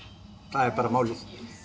það er bara málið